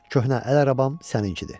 Köhnə əl arabam səninkidir.